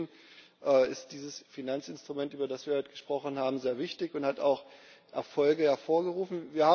Wie wir sehen, ist dieses Finanzinstrument, über das wir heute gesprochen haben, sehr wichtig und hat auch Erfolge hervorgerufen.